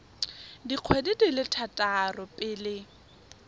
dikgwedi di le tharo pele